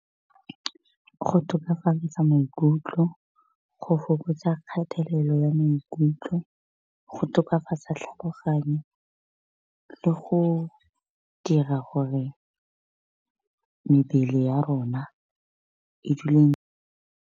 Go tokafatsa maikutlo, go fokotsa kgatelelo ya maikutlo, go tokafatsa tlhaloganyo, le go dira gore mebele ya rona e dule.